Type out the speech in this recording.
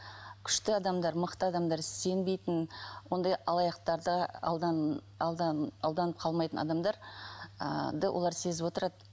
күшті адамдар мықты адамдар сенбейтін ондай алаяқтарды алданып қалмайтын адамдар ыыы олар сезіп отырады